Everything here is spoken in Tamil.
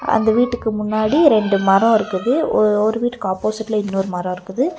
அந்த வீட்டுக்கு முன்னாடி ரெண்டு மரம் இருக்குது. ஒ ஒரு வீட்டுக்கு ஆப்போசிட்லா இன்னொரு மரம் இருக்குது.